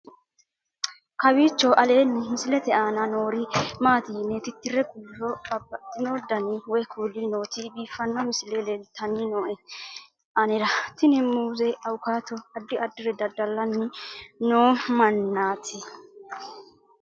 kowiicho aleenni misilete aana noori maati yine titire kulliro babaxino dani woy kuuli nooti biiffanno misile leeltanni nooe anera tino muuze awukaato addi addire dada'lanni noo mannaati